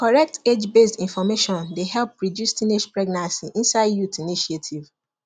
correct agebased information dey help reduce teenage pregnancy inside youth initiative